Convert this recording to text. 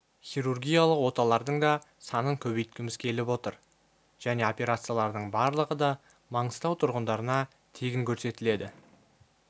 хирургиялық оталардың да санын көбейткіміз келіп отыр және операциялардың барлығы да маңғыстау тұрғындарына тегін көрсетіледі